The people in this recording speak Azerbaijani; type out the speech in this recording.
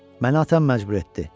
Məni atam məcbur etdi.